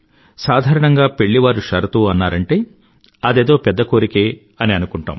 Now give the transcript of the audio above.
సాధారణంగా పెళ్ళివారు షరతు అన్నారంటే అదేదో పెద్ద కోరికే అని అనుకుంటాం